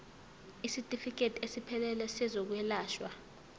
isitifikedi esiphelele sezokwelashwa